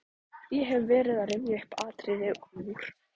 Ég hef verið að rifja upp atriði úr